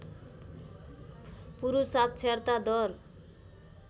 पुरुष साक्षरता दर